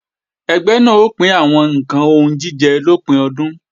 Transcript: Ẹgbẹ́ náà ó pín àwọn ǹkan oúnjíjẹ lópin ọdún